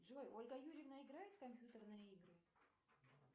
джой ольга юрьевна играет в компьютерные игры